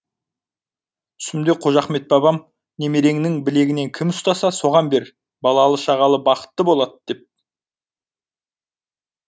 түсімде қожа ахмет бабам немереңнің білегіне кім ұстаса соған бер балалы шағалы бақытты болады деп